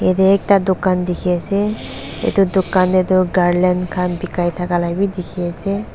jatte ekta dukan dekhi ase etu dukan te tu garlin khan bekai thaka bhi dekhi ase.